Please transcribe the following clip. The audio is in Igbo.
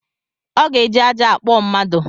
Ọ ga eji ajja akpụọ mmadu